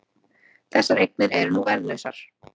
Þessar eignir eru nú verðlausar